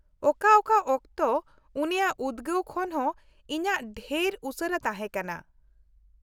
ᱚᱠᱟ ᱚᱠᱟ ᱚᱠᱛᱮ ᱩᱱᱤᱭᱟᱜ ᱩᱫᱜᱟᱹᱣ ᱠᱷᱚᱱ ᱦᱚᱸ ᱤᱧᱟᱹᱜ ᱰᱷᱮᱨ ᱩᱥᱟᱹᱨᱟ ᱛᱟᱦᱮᱸ ᱠᱟᱱᱟ ᱾